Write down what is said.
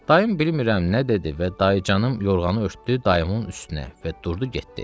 Dayım bilmirəm nə dedi və dayıcanım yorğanı örtdü dayımın üstünə və durdu getdi.